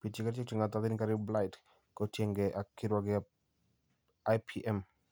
biityi kerichek che ng'atootin kariib blight kotiengei ak kirwogetap IPM